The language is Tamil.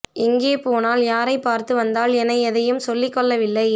எங்கே போனாள் யாரை பார்த்து வந்தாள் என எதையும் சொல்லிக் கொள்ளவில்லை